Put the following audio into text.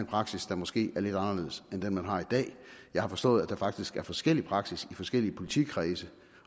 praksis der måske er lidt anderledes end den man har i dag jeg har forstået at der faktisk er forskellig praksis i forskellige politikredse